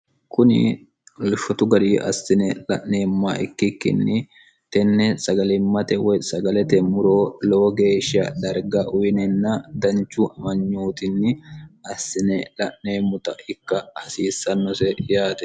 kuni lffotu gari assine la'neemma ikkikkinni tenne sagalimmate woy sagaletemmuroo lowo geeshsha darga uyinenna danchu amanyootinni assine la'neemmota ikka hasiissannose yaate